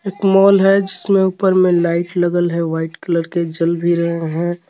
एक मोल है जिसमें ऊपर में लाइट लगल है व्हाइट कलर की जल भी रहे हैं.